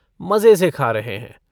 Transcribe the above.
मजे से खा रहे हैं।